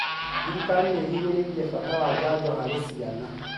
Thirikari nĩ ĩhinyĩrĩirie bata wa janjo harĩ ciana